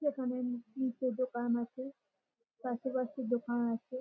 এইখানে দুটো আছে। আশেপাশে দোকান আছে।